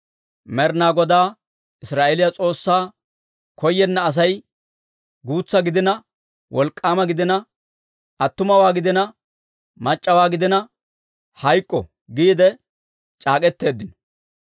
«Med'inaa Godaa Israa'eeliyaa S'oossaa koyenna asay, guutsa gidina wolk'k'aama gidina, attuma gidina mac'c'a gidina, hayk'k'o» giide c'aak'k'eteeddino.